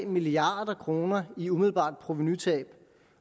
milliard kroner i umiddelbart provenutab